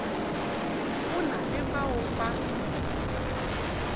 go na le bao ba